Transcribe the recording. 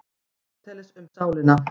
Aristóteles, Um sálina.